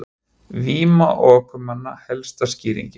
Víma ökumanna helsta skýringin